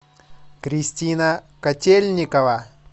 кристина котельникова